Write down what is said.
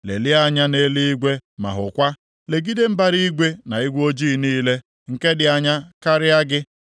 Lelie anya na eluigwe ma hụkwa. Legide mbara igwe na igwe oji niile, nke dị anya karịa gị.